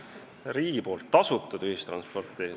Riigi tasutud ühistransport?